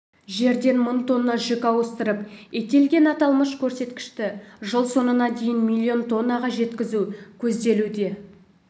жерден мың тонна жүк ауыстырып тиелген аталмыш көрсеткішті жыл соңына дейін миллион тоннаға жеткізу көзделуде